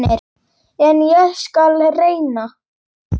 En ég skal reyna.